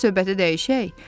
Bəlkə söhbəti dəyişək?